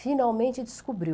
finalmente descobriu.